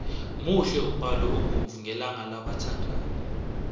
muhle umbalo obovu ngelanga labathandani